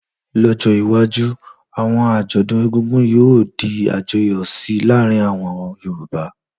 Lọ́jọ́ iwájú, àwọn àjọ̀dún egúngún yóò di àjọyọ̀ síi láàrin àwọn Yorùbá